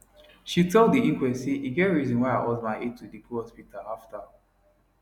she tell di inquest say e get reason why her husband hate to dey go hospital afta